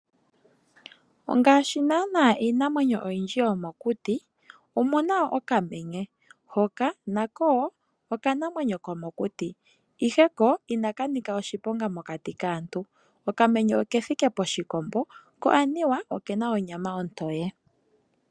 Ngaashi naanaa iinamwenyo oyindji yomokuti, omu na wo okamenye, hoka nako wo okanamwenyo komokuti, ihe ko inaka nika oshiponga mokati kaantu. Okamenye oke thike poshikombo, ko anuwa oke na onyama ontoye.